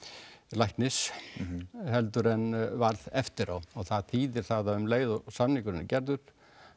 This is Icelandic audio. læknis heldur en varð eftir á og það þýðir það að um leið og samningurinn er gerður